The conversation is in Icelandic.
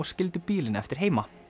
skildu bílinn eftir heima